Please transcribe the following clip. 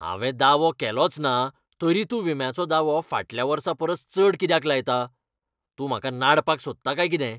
हांवें दावो केलोचना तरी तूं विम्याचो दावो फाटल्या वर्सापरस चड कित्याक लायता? तूं म्हाका नाडपाक सोदता काय कितें?